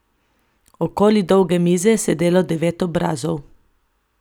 Okoli dolge mize je sedelo devet obrazov.